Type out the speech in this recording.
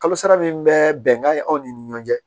Kalo sara min bɛ bɛnkan aw ni ɲɔgɔn cɛ